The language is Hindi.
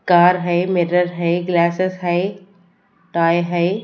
कार है मिरर है ग्लासेस है टॉय है।